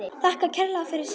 Þakkar kærlega fyrir sig.